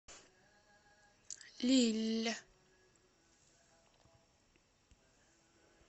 лилль